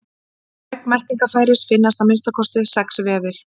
Í vegg meltingarfæris finnast að minnsta kosti sex vefir.